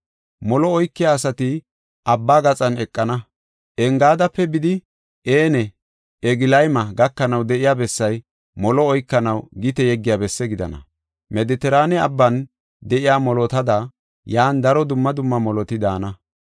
Molo oykiya asati abba gaxan eqana; Engaadape bidi En Eglayma gakanaw de7iya bessay molo oykanaw gite yeggiya besse gidana. Medetiraane Abban de7iya molotada, yan daro dumma dumma moloti daana.